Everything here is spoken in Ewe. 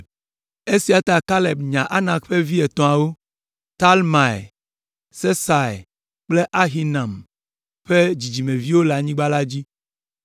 Esia ta Kaleb nya Anak ƒe vi etɔ̃awo, Talmai, Sesai kple Ahiman ƒe dzidzimeviwo le anyigba la dzi,